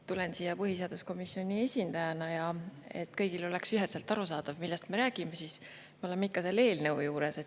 Tulen siia põhiseaduskomisjoni esindajana ja et kõigile oleks üheselt arusaadav, millest me räägime, siis me oleme ikka selle eelnõu juures.